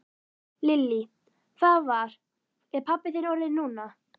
Lillý: Hvað var, er pabbi þinn orðinn núna?